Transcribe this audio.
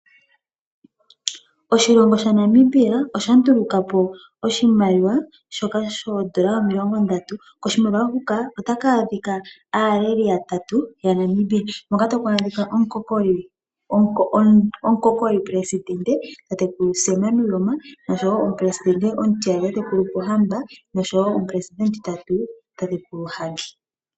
Oshilongo shaNamibia osha nduluka po oshimaliwa oshipe shoodola omilongondatu. Koshimaliwa huka otaku adhika aaleli yatatu yaNamibia hoka taku adhika omukokolipelesidente tatekulu Sam Nujoma, omupelesidente omutiyali tatekulu Pohamba noshowo omupeleidente omutitatu tatekulu Hage.